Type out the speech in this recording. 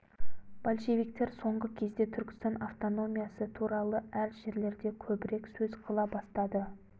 большевиктер соңғы кезде түркістан автономиясы туралы әр жерлерде көбірек сөз қыла бастады